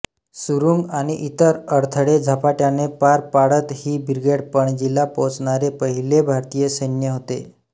सुरुंग आणि इतर अडथळे झपाट्याने पार पाडत ही ब्रिगेड पणजीला पोचणारे पहिले भारतीय सैन्य होते